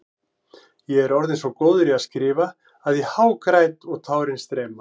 Ég er orðinn svo góður í að skrifa að ég hágræt og tárin streyma.